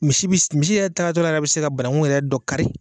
Misi misi yɛrɛ taatɔ la a bɛ se ka banankun yɛrɛ dɔ kari.